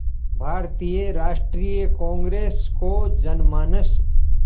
भारतीय राष्ट्रीय कांग्रेस को जनमानस